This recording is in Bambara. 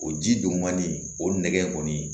O ji dugumani o nɛgɛ kɔni